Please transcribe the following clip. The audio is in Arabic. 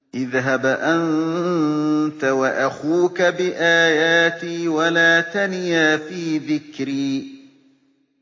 اذْهَبْ أَنتَ وَأَخُوكَ بِآيَاتِي وَلَا تَنِيَا فِي ذِكْرِي